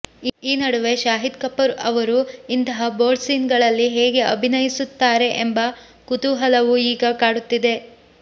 ಈ ನಡುವೆ ಶಾಹೀದ್ ಕಪೂರ್ ಅವರು ಇಂತಹ ಬೋಲ್ಡ್ ಸೀನ್ ಗಳಲ್ಲಿ ಹೇಗೆ ಅಭಿನಯಿಸುತ್ತಾರೆ ಎಂಬ ಕುತೂಹಲವೂ ಈಗ ಕಾಡುತ್ತಿದೆ